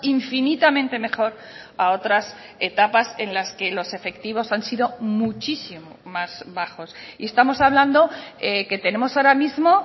infinitamente mejor a otras etapas en las que los efectivos han sido muchísimo más bajos y estamos hablando que tenemos ahora mismo